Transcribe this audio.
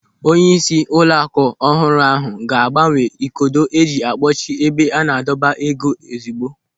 Onyeisi ụlọaku ọhụrụ ahụ ga-agbanwe ikodo eji a kpọchi ebe a na-adọba ego ozigbo.